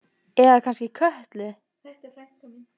Eða kannski Kötlu?